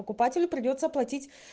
покупателю придётся платить